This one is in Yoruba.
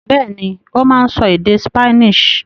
Bẹ́ẹ̀ni, ó máa ń sọ èdè Spanish.